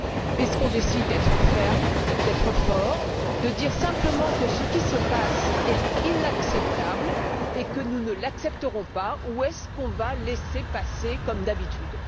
Est ce qu'on décide d'être fermes, d'être forts, de dire simplement que ce qui se passe est inacceptable, et que nous ne l'accepterons pas, ou est ce qu'on va laisser passer, comme d'habitude?